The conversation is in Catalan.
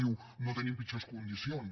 diu no tenim pitjors condicions